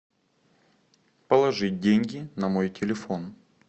положить деньги на мой телефон